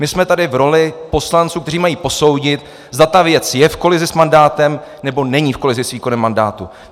My jsme tady v roli poslanců, kteří mají posoudit, zda ta věc je v kolizi s mandátem, nebo není v kolizi s výkonem mandátu.